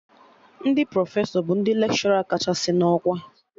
Ndị Profesọ bụ ndị lekshọra kachasị na ọkwa